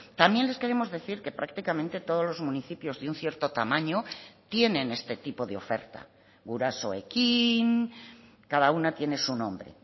también les queremos decir que prácticamente todos los municipios de un cierto tamaño tienen este tipo de oferta gurasoekin cada una tiene su nombre